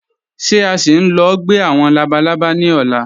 Ṣé à sì ń lọ̀ gbẹ̀ awọn labàlábà ni ọ̀lá?